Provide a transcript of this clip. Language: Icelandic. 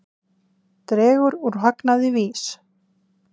Dregur úr hagnaði VÍS